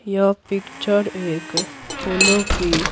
यह पिक्चर एक फूलों की--